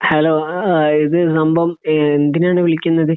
Hello. ആഹ്. ഇത് നമ്മ ഏഹ് എന്തിനാണ് വിളിക്കുന്നത്?